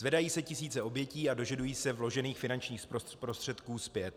Zvedají se tisíce obětí a dožadují se vložených finančních prostředků zpět.